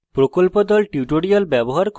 প্রকল্প দল